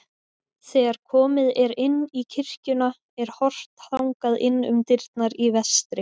Þegar komið er inn í kirkjuna er horft þangað inn um dyrnar í vestri.